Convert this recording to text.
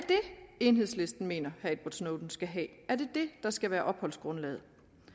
enhedslisten mener at edward snowden skal have er det det der skal være opholdsgrundlaget